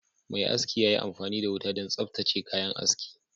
Mai aski ya yi amfani da wuta don tsaftace kayan aski